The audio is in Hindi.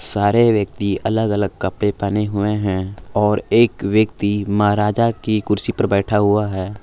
सारे व्यक्ति अलग अलग कपड़े पहने हुए हैं और एक व्यक्ति महाराजा की कुर्सी पर बैठा हुआ है।